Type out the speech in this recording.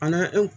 A n'an